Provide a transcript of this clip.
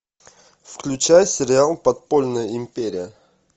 включай сериал подпольная империя